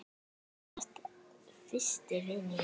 Þú varst fyrsti vinur minn.